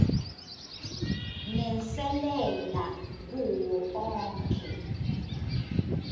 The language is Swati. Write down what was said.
nenselela kuwo onkhe